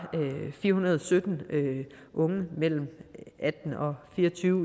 fire hundrede og sytten unge mellem atten og fire og tyve